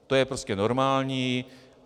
To je prostě normální.